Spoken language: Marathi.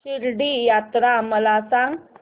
शिर्डी यात्रा मला सांग